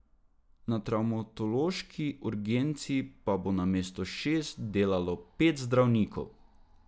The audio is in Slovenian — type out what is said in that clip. Na travmatološki urgenci pa bo namesto šest delalo pet zdravnikov.